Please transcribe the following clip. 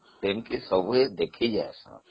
ସେଠି ସବୁ ଦେଖିବାକୁ ଯାଆନ୍ତି